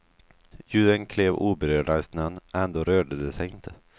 Djuren klev oberörda i snön, ändå rörde de sig inte.